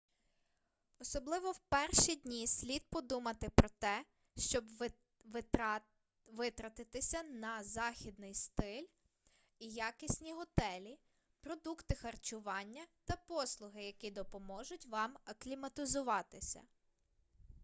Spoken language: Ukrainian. особливо в перші дні слід подумати про те щоб витратитися на західний стиль і якісні готелі продукти харчування та послуги які допоможуть вам акліматизуватися